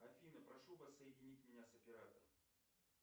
афина прошу вас соединить меня с оператором